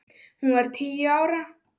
Hún var tíu ára.